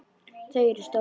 Þau eru stór.